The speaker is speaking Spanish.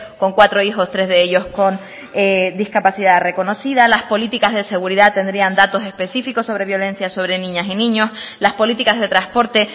con cuatro hijos tres de ellos con discapacidad reconocida las políticas de seguridad tendrían datos específicos sobre violencias sobre niñas y niños las políticas de transporte